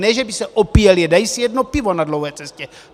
Ne že by se opíjeli, dají si jedno pivo na dlouhé cestě.